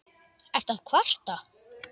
Ertu að kvarta?